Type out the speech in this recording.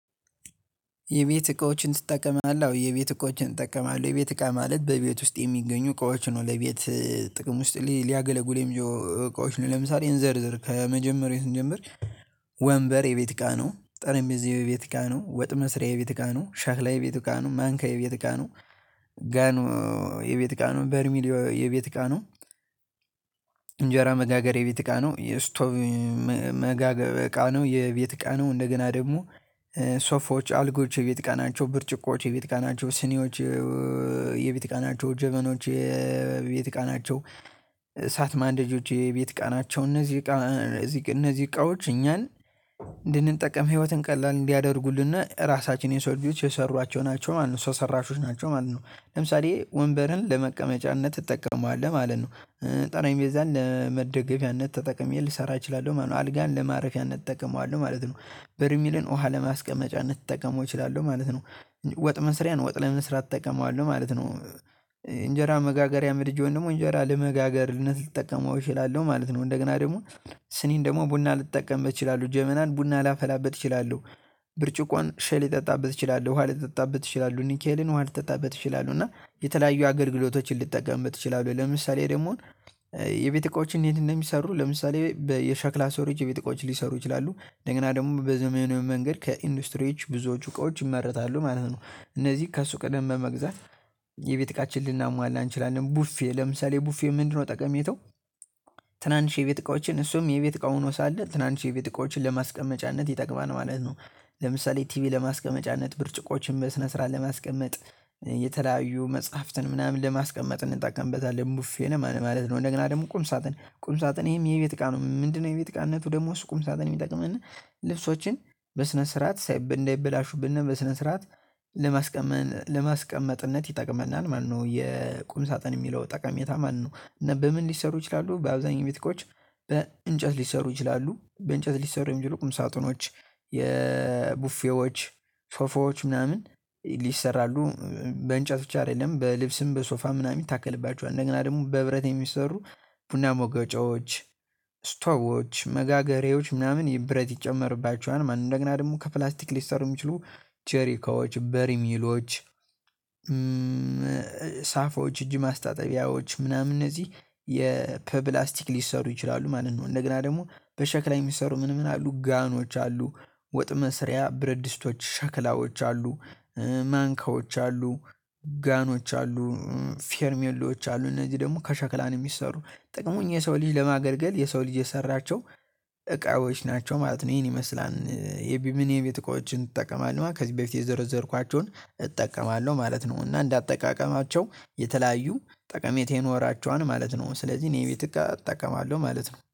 የቤት እቃዎችን ትጠቀማለህ? አዎ የቤት እቃዎችን እጠቀማለሁ የቤት እቃ ማለት በቤት ውስጥ የሚገኙ እቃዎች ነው ለቤት ጥቅም ውስጥ ሊያገለጉ የሚያው እቃዎች ነው ለምሳሌ እንዘርዝር ከመጀመሪያው ስንጀምር። ወንበር የቤት እቃ ነው ጠረምቤዛው የቤት እቃ ነው ወጥ መስሪያ የቤት እቃ ነው ሻክላ የቤት እቃ ነው ማንኪያ የቤት እቃ ነው። ጋኑ የቤት እቃ ነው በርሚሊዮ የቤት እቃ ነው። እንጀራ መጋገሪያ የቤት እቃ ነው የስቶቭ መጋገ እቃ ነው የቤት እቃ ነው እንደገና ደግሞ። ሶፋዎች አልጋዎች የቤት እቃ ናቸው ብርጭቆዎች የቤት እቃ ናቸው ስኒዎች የቤት እቃ ናቸው ጀበኖች የቤት እቃ ናቸው። እሳት ማንደጃዎች የቤት እቃ ቸው እነዚህ። እቃ እቃዎች እኛን እንድንጠቀም ህይወትን ቀላል እንዲያደርጉልነ ራሳችን የሰው ልጆች የሰሯቸው ናቸው ማለት ነው። ሰው ሰራሾች ናቸው ማለት ነው። ለምሳሌ ወንበርን ለመቀመጫነት ትጠቀመዋለህ ማለት ነው። ጠረንቤዛን ለመደገፊያነት ተጠቅሜ ልሰራ እችላለሁ ማለት ነው። አልጋን ለማረፊያነት እንጠቀመዋለሁ ማለት ነው። በርሚልን ውሃ ለማስቀመጫነት ልጠቀመው እችላለሁ ማለት ነው። ወጥ መስሪያን ወጥ ለመስራት እጠቀመዋለሁ ማለት ነው። እንጀራ መጋገሪያ ምድጃውን ደግሞ እንጀራ ለመጋገርነት ልጠቀመው እችላለሁ ማለት ነው። እንደገና ደግሞ ስኒን ደግሞ ቡና ልጠቀምበት እችላለሁ ጀመናን ቡና ላፈላበት ይችላሉ። ብርጭቆን ሻይ ልጠጣበት እችላለሁ ኋላ ይጠጣበት እችላለሁ ኒኬልን ውሃ ልጠጣበት እችላለሁ እና የተለያዩ አገልግሎቶችን ልጠቀምበት እችላለሁ ለምሳሌ ደግሞ። የቤት እቃዎችን እንዴት እንደሚሰሩ ለምሳሌ በየሸክላ ሰሪዎች የቤት እቃዎችም ሊሰሩ ይችላሉ እንደገና ደግሞ በዘመናዊ መንገድ ከኢንዱስትሪዎች ብዙዎቹ እቃዎች ይመረታሉ ማለት ነው። እነዚህ ከሱቅ ሂደን በመግዛት የቤት እቃችን ልናሟላ እንችላለን ቡፌ ለምሳሌ ቡፌ ምንድነው ጠቀሜታው? ትናንሽ የቤት እቃዎችን እሱም የቤት እቃ ሁኖ ሳለ ትናንሽ የቤት እቃዎችን ለማስቀመጫነት ይጠቅማል ማለት ነው። ለምሳሌ ቲቪ ለማስቀመጫነት ብርጭቆዎችን በስነ ስርዓት ለማስቀመጥ የተለያዩ መጽሐፍትን ምናምን ለማስቀመጥ እንጠቀምበታለን ቡፌ ማለት ነው። እንደገና ቁም ሳጥን ቁም ሳጥን ይሄም የቤት እቃ ነው ምንድነው የቤት እቃነቱ? ደግሞ እሱ ቁምሳጥን የሚጠቅመንጰልብሶችን በስነ ስርዓት ሳይ እንዳይበላሹብነ በስነ ስርዓት ለማስቀመጥ ለማስቀመጥነት ይጠቅመናል ማለት ነው። የቁም ሳጥን የሚለው ጠቀሜታ ማለት ነው። እና በምን ሊሰሩ ይችላሉ በአብዛኛው የቤት እቃዎች በእንጨት ሊሰሩ ይችላሉ በእንጨት ሊሰሩ የሚችሉ ቁም ሳጥኖች የቡፌዎች ሶፋዎች ምናምን ሊሰራሉ። በእንጨት ብቻ አይደለም በልብስም በሶፋም ምናምን ይታከልባቸዋል አንደገና ደግሞ በብረት የሚሰሩ ቡና መውገጫዎች ስቶቮች መጋገሪያዎች ምናምን ብረት ይጨመርባቸዋል ማለት ነው። እንደገና ደግሞ ከፕላስቲክ ሊሰሩ ሚችሉ ጀሪካዎች በሪሚሎች ሳፋዎች እጅ ማስታጠቢያዎች ምናምን እነዚህ የ ከፕብላስቲክ ሊሰሩ ይችላሉ ማለት ነው። እንደገና ደግሞ በሸክላ የሚሰሩ ምን ምን አሉ ጋኖች አሉ። ወጥ መስሪያ ብረድስቶች ሸክላዎች አሉ። ማንካዎች አሉ። ጋኖች አሉ ፌርሜሎች አሉ። እነዚህ ደግሞ ከሸክላ የሚሰሩ ጥቅሙ እኛ የሰው ልጅ ለማገልገል የሰው ልጅ የሰራቸው እቃዎች ናቸው ማለት ነው። ይሄን ይመስላል የቢሚኔ የቤት እቃዎችን ትጠቀማለህ ማለት ከዚህ በፊት የዘረዘርኳቸውን እጠቀማለሁ ማለት ነው። እና እንደ አጠቃቀማቸው የተለያዩ ጠቀሜታ ይኖራቸዋል ማለት ነው። ስለዚህ እኔ ቤት እቃ እጠቀማለሁ ማለት ነው